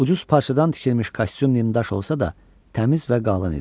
Ucuz parçadan tikilmiş kostyum nimdaş olsa da, təmiz və qalın idi.